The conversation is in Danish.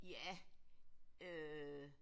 Ja øh